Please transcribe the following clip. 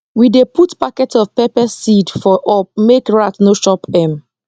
we dey put packet of pepper seed for up make rat no chop m